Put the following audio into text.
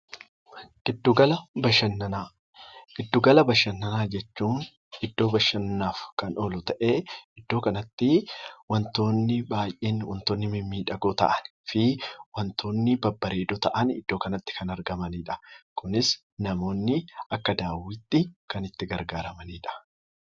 Giddu gala bashannanaa jechuun iddoo bashannanaaf oolu ta'ee, iddoo kanatti wantoonni baay'een wantoonni mimiidhagoo ta'anii fi wantoonni babbareedoo ta'an iddoo kanatti kan argamanidha. Kunis namoonni akka daawwiitti kan itti gargaaramanidha.